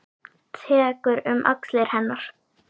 Tekur um axlir hennar.